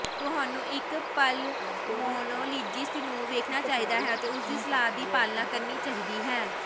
ਤੁਹਾਨੂੰ ਇੱਕ ਪਲਮਨੋਲੋਜਿਸਟ ਨੂੰ ਵੇਖਣਾ ਚਾਹੀਦਾ ਹੈ ਅਤੇ ਉਸਦੀ ਸਲਾਹ ਦੀ ਪਾਲਣਾ ਕਰਨੀ ਚਾਹੀਦੀ ਹੈ